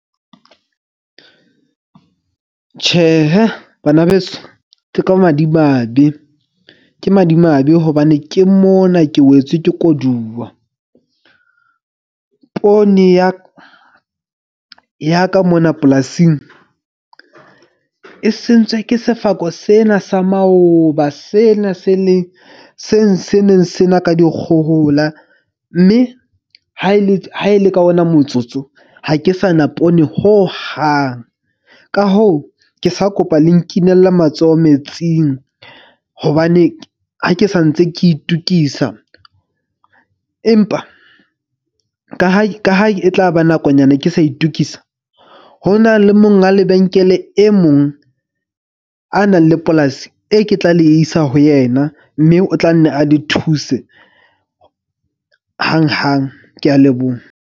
Tjhehe banabeso ke ka madimabe. Ke madimabe hobane ke mona ke wetswe ke koduwa. Poone ya ka ka mona polasing e sentswe ke sefako sena sa maoba. Sena se leng seng se neng se na ka dikgohola. Mme ha e le ka ona motsotso ha ke sa na poone hohang. Ka hoo, ke sa kopa le nkinele matsoho metsing. Hobane ha ke sa ntse ke itokisa empa ka ha e tlaba nakonyana, ke sa itokisa. Ho na le monga lebenkele e mong a nang le polasi e ke tla le isa ho yena. Mme o tla nne a le thuse hanghang. Ke a leboha.